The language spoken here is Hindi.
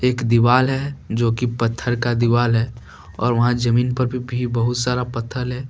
एक दीवाल है जोकि पत्थर का दीवाल है और वहां जमीन पर भी बहुत सारा पत्थर है।